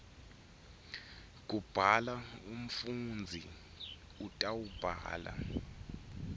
kubhala umfundzi utawubhala